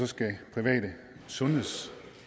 skal private